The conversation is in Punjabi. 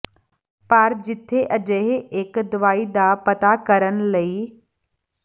ਪਰ ਜਿੱਥੇ ਅਜਿਹੇ ਇੱਕ ਦਵਾਈ ਦਾ ਪਤਾ ਕਰਨ ਲਈ